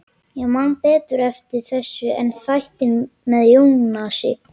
Ég man betur eftir þessu en þættinum með Jónasi.